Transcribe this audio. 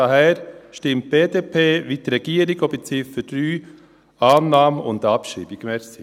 Daher stimmt die BDP wie die Regierung – auch bei Ziffer 3 für Annahme und Abschreibung.